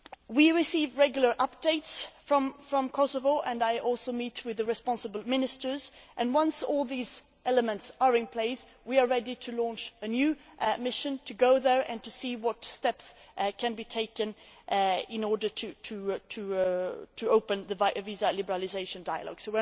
We receive regular updates from Kosovo, and I also meet with the responsible ministers, and once all these elements are in place, we are ready to launch a new mission to go there and see what steps can be taken in order to open the visa liberalisation dialogue.